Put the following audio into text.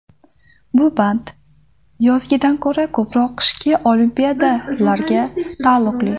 Bu band yozgidan ko‘ra ko‘proq qishki Olimpiadalarga taalluqli.